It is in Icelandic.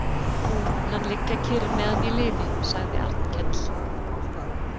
Nú mun hann liggja kyrr meðan ég lifi, sagði Arnkell.